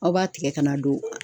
Aw b'a tigɛ ka na don